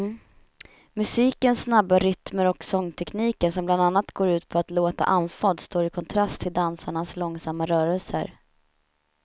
Musikens snabba rytmer och sångtekniken som bland annat går ut på att låta andfådd står i kontrast till dansarnas långsamma rörelser.